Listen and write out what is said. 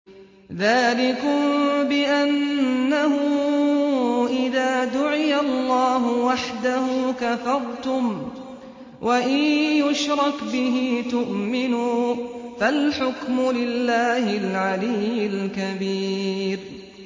ذَٰلِكُم بِأَنَّهُ إِذَا دُعِيَ اللَّهُ وَحْدَهُ كَفَرْتُمْ ۖ وَإِن يُشْرَكْ بِهِ تُؤْمِنُوا ۚ فَالْحُكْمُ لِلَّهِ الْعَلِيِّ الْكَبِيرِ